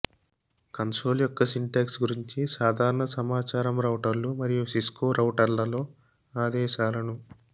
console యొక్క syntax గురించి సాధారణ సమాచారం రౌటర్లు మరియు సిస్కో రౌటర్ల లో ఆదేశాలను